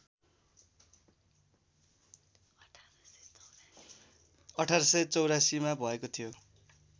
१८८४ मा भएको थियो